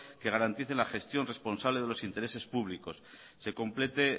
que garanticen la gestión responsable de los intereses públicos se complete